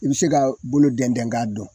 I bi se ka bulu dɛn dɛn k'a dɔn